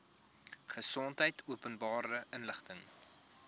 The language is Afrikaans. gesondheid openbare inligting